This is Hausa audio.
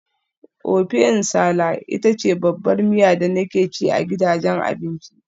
Ofẹ nsala ita ce babbar miya da nake ci a gidajen abinci.